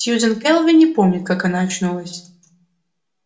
сьюзен кэлвин не помнит как она очнулась